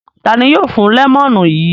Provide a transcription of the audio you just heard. Ta ni yóò fún lẹ́mọ́nù yìí?